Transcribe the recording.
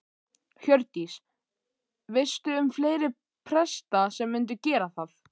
Hjördís: Veistu um fleiri presta sem myndu gera það?